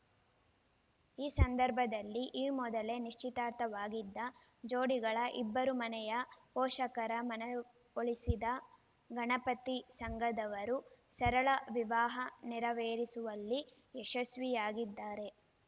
ಈ ಸಂದರ್ಭದಲ್ಲಿ ಈ ಮೊದಲೇ ನಿಶ್ಚಿತಾರ್ಥವಾಗಿದ್ದ ಜೋಡಿಗಳ ಇಬ್ಬರು ಮನೆಯ ಪೋಷಕರ ಮನವೊಲಿಸಿದ ಗಣಪತಿ ಸಂಘದವರು ಸರಳ ವಿವಾಹ ನೆರವೇರಿಸುವಲ್ಲಿ ಯಶಸ್ವಿಯಾಗಿದ್ದಾರೆ